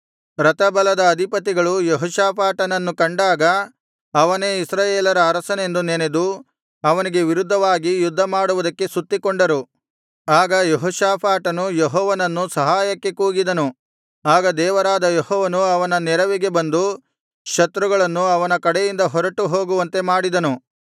ರಥಬಲದ ಅಧಿಪತಿಗಳು ಯೆಹೋಷಾಫಾಟನನ್ನು ಕಂಡಾಗ ಅವನೇ ಇಸ್ರಾಯೇಲರ ಅರಸನೆಂದು ನೆನೆದು ಅವನಿಗೆ ವಿರುದ್ಧವಾಗಿ ಯುದ್ಧ ಮಾಡುವುದಕ್ಕೆ ಸುತ್ತಿಕೊಂಡರು ಆಗ ಯೆಹೋಷಾಫಾಟನು ಯೆಹೋವನನ್ನು ಸಹಾಯಕ್ಕಾಗಿ ಕೂಗಿದನು ಆಗ ದೇವರಾದ ಯೆಹೋವನು ಅವನ ನೆರವಿಗೆ ಬಂದು ಶತ್ರುಗಳನ್ನು ಅವನ ಕಡೆಯಿಂದ ಹೊರಟು ಹೋಗುವಂತೆ ಮಾಡಿದನು